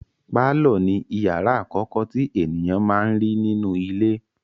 Pálọ̀ ni ìyàrá àkọ́kọ́ tí ènìyàn máa n rí nínú ilé.